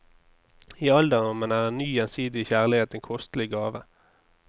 I alderdommen er en ny, gjensidig kjærlighet en kostelig gave.